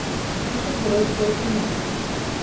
супергеройское кино